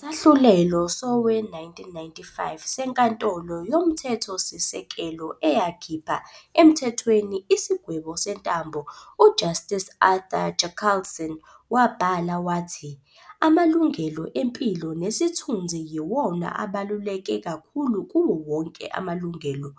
Ngesahlulelo sowe-1995 seNkantolo Yomthethosise-kelo eyakhipha emthethweni isigwebo sentambo, u-Justice Arthur Chaskalson wabhala wathi- "Amalungelo empilo nesithunzi yiwona abaluleke kakhulu kuwowonke amalungelo